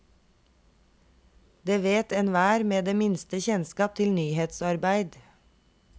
Det vet enhver med det minste kjennskap til nyhetsarbeid.